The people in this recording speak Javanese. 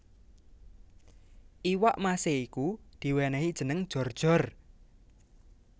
Iwak mase iku diwenehi jeneng Jor jor